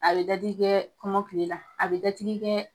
A be dadigi kɛ kɔmɔkili la, be dadigi kɛ